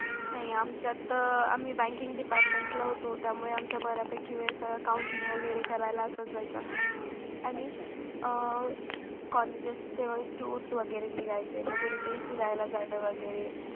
नाही आमचा तर आम्ही बँकिंग डिपार्टमेंटला होतो त्यामुळे आमचा बऱ्यापैकी वेळ काउंटिंग वगैरे करायला असच जायचा आणि अं कॉलेजेस टूर्स वगैरे निघायचे मग कुठेतरी फिरायला जायला वगैरे